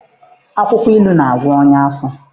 Akwụkwọ ilu na-agwọ ọnya afọ.